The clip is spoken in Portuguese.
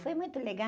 Foi muito